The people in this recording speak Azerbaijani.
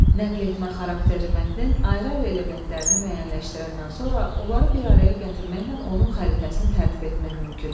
Nəqletmə xarakterli mətnin ayrı-ayrı elementlərini müəyyənləşdirəndən sonra onları bir araya gətirməklə onun xəritəsini tərtib etmək mümkündür.